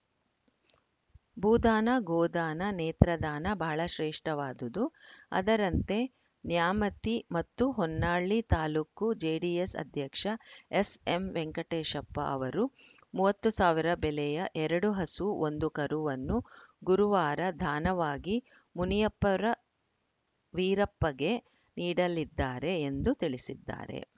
ಭೂದಾನ ಗೋದಾನ ನೇತ್ರದಾನ ಬಹಳ ಶ್ರೇಷ್ಠವಾದುದು ಅದರಂತೆ ನ್ಯಾಮತಿ ಮತ್ತು ಹೊನ್ನಾಳಿ ತಾಲೂಕು ಜೆಡಿಎಸ್‌ ಅಧ್ಯಕ್ಷ ಎಸ್‌ಎಂ ವೆಂಕಟೇಶಪ್ಪ ಅವರು ಮೂವತ್ತ್ ಸಾವಿರ ಬೆಲೆಯ ಎರಡು ಹಸು ಒಂದು ಕರುವನ್ನು ಗುರುವಾರ ದಾನವಾಗಿ ಮುನಿಯಪ್ಪರ ವೀರಪ್ಪಗೆ ನೀಡಲಿದ್ದಾರೆ ಎಂದು ತಿಳಿಸಿದ್ದಾರೆ